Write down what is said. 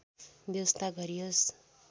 व्यवस्था गरियोस्